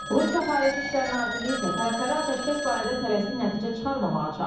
Rusiya Xarici İşlər Nazirliyi isə tərəfləri atəşkəs barədə tələsik nəticə çıxarmamağa çağırıb.